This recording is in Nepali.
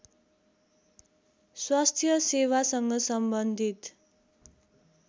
स्वास्थ्य सेवासँग सम्बन्धित